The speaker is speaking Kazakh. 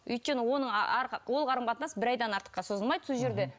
өйткені оның ол қарым қатынас бір айдан артыққа созылмайды сол жерде